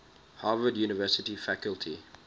harvard university faculty